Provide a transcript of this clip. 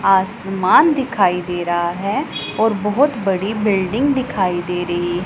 आसमान दिखाई दे रहा हैं और बहोत बड़ी बिल्डिंग दिखाई दे रही--